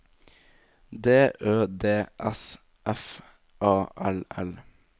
D Ø D S F A L L